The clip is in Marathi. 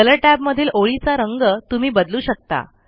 कलर टॅबमधील ओळीचा रंग तुम्ही बदलू शकता